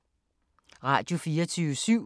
Radio24syv